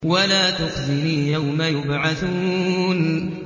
وَلَا تُخْزِنِي يَوْمَ يُبْعَثُونَ